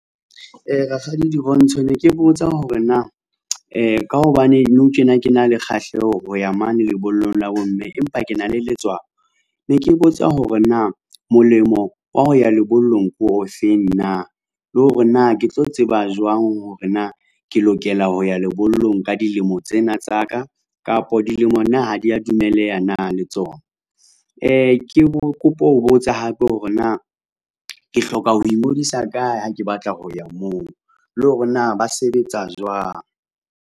Rakgadi Dirontsho ne ke botsa hore na ka hobane nou tjena ke na le kgahleho ho ya mane lebollong la bomme. Empa ke na le letswalo. Ne ke botsa hore na molemo wa ho ya lebollong ke ofeng na le hore na ke tlo tseba jwang hore na ke lokela ho ya lebollong ka dilemo tsena tsa ka, kapo dilemo na ha di ya dumelleha na le tsona? Ke bo kopa ho botsa hape hore na ke hloka ho ingodisa kae ha ke batla ho ya moo, le hore na ba sebetsa jwang?